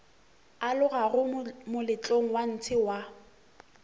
alogago moletlong wa ntshe wa